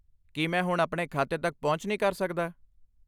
ਕੀ ਮੈਂ ਹੁਣ ਆਪਣੇ ਖਾਤੇ ਤੱਕ ਪਹੁੰਚ ਨਹੀਂ ਕਰ ਸਕਦਾ?